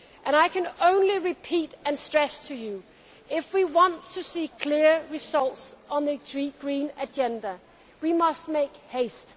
I can only repeat and stress to you that, if we want to see clear results on the green agenda, we must make haste.